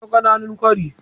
Akwai ƙananun kwari.